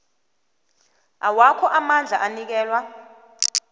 awakho amandla anikelwa